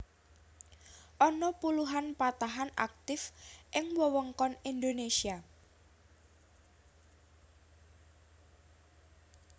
Ana puluhan patahan aktif ing wewengkon Indonésia